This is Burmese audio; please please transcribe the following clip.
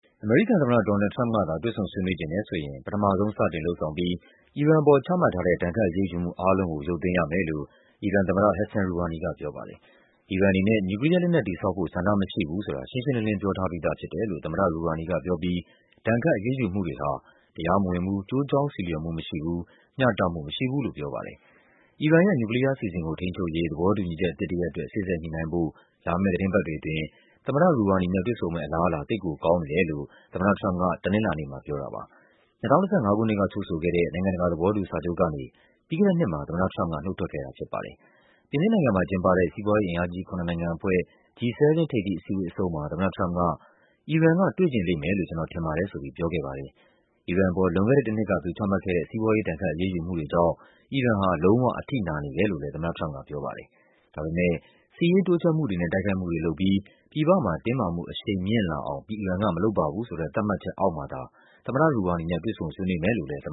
အမေရိကန်သမ္မတ Donald Trump သာ တွေ့ဆုံဆွေးနွေးချင်တယ်ဆိုရင် ပထမဆုံး စတင်လုပ်ဆောင်ပြီး အီရန်အပေါ် ချမှတ်ထားတဲ့ ဒဏ်ခတ်အရေးယူမှုအားလုံးကို ရုပ်သိမ်းရမယ်လို့ အီရန်သမ္မတ Hassan Rouhani က ပြောပါတယ်။ အီရန်အနေနဲ့ နျူကလီးယားလက်နက် တည်ဆောက်ဖို့ ဆန္ဒမရှိဘူးဆိုတာ ရှင်းရှင်းလင်းလင်း ပြောထားပြီးသားဖြစ်တယ်လို့ သမ္မတ Rouhani ကပြောပြီး ဒဏ်ခတ်အရေးယူမှုတွေဟာ တရားမဝင်ဘူး၊ ကျိုးကြောင်းဆီလျော်မှုမရှိဘူး၊ မျှတမှုမရှိဘူးလို့ ပြောပါတယ်။ အီရန်ရဲ့ နျူကလီးယားအစီအစဉ်ကို ထိန်းချုပ်ရေး သဘောတူညီချက်အသစ်တရပ်အတွက် စေ့စပ်ညှိနှိုင်းဖို့ လာမယ့်သီတင်းပတ် တွေအတွင်း သမ္မတ Rohani နဲ့ တွေ့ဆုံမယ့်အလားအလာ သိပ်ကိုကောင်းနေတယ်လို့ သမ္မတထရမ့်ပ်က တနင်္လာနေ့မှာ ပြောတာပါ။ ၂၀၁၅ ခုနှစ်က ချုပ်ဆိုခဲ့တဲ့ နိုင်ငံတကာ သဘောတူစာချုပ်ကနေ ပြီးခဲ့တဲ့နှစ်မှာ သမ္မတထရမ့်ပ်က နုတ်ထွက်ခဲ့တာ ဖြစ်ပါတယ်။ ပြင်သစ်နိုင်ငံမှာကျင်းပတဲ့ စီးပွားရေးအင်အားကြီး ခုနစ်နိုင်ငံအဖွဲ့ G7 ထိပ်သီးအစည်းအဝေးအဆုံးမှာ သမ္မတထရမ့်ပ်က အီရန်က တွေ့ချင်လိမ့်မယ်လို့ ကျနော်ထင်ပါတယ်ဆိုပြီး ပြောခဲ့ပါတယ်။ အီရန်အပေါ် လွန်ခဲ့တဲ့တနှစ်က သူချမှတ်ခဲ့တဲ့ စီးပွားရေး ဒဏ်ခတ်အရေးယူမှုတွေကြောင့် အီရန်ဟာ လံုံးဝအထိနာနေတယ်လို့ သမ္မတထရမ့်ပ်ကပြောပါတယ်။ ဒါပေမယ့် စစ်ရေးတိုးချဲ့မှုတွေနဲ့ တိုက်ခိုက်မှုတွေလုပ်ပြီး ပြည်ပမှာ တင်းမာမှု အရှိန်မြင့်လာအောင် အီရန်ကမလုပ်ပါဘူးဆိုတဲ့ သတ်မှတ်ချက်အောက်မှာသာ သမ္မတ Rouhani နဲ့ တွေ့ဆုံဆွေးနွေးမယ်လို့လည်း သမ္